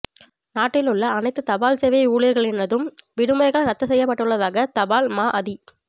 நாட்டில் உள்ள அனைத்து தபால் சேவை ஊழியர்களினதும் விடுமுறைகள் இரத்துச் செய்யப்பட்டுள்ளதாக தபால் மா அதி